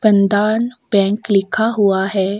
बंधान bank लिक्खा हुआ है।